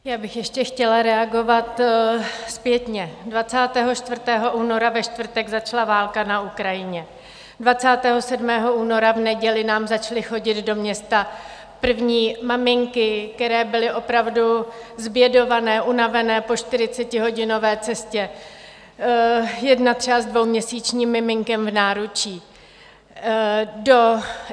Já bych ještě chtěla reagovat zpětně: 24. února ve čtvrtek začala válka na Ukrajině, 27. února v neděli nám začaly chodit do města první maminky, které byly opravdu zbědované, unavené po 40hodinové cestě, jedna třeba s dvouměsíčním miminkem v náručí.